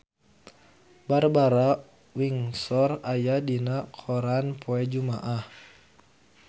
Barbara Windsor aya dina koran poe Jumaah